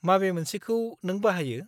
माबे मोनसेखौ नों बाहायो?